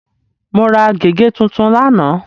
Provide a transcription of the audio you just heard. Mo ra gègé tuntun lánàá.